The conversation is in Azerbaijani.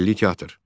Milli teatr.